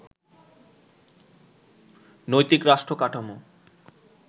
নৈতিক রাষ্ট্র কাঠামো